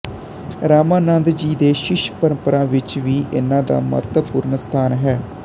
ਰਾਮਾਨੰਦ ਜੀ ਦੀ ਸ਼ਿਸ਼ ਪਰੰਪਰਾ ਵਿੱਚ ਵੀ ਇਨ੍ਹਾਂ ਦਾ ਮਹੱਤਵਪੂਰਨ ਸਥਾਨ ਹੈ